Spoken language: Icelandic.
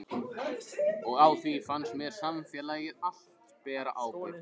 Og á því fannst mér samfélagið allt bera ábyrgð.